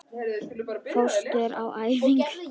Fórstu á æfingu?